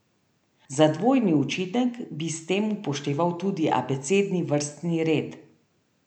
Za dvojni učinek bi s tem upošteval tudi abecedni vrstni red.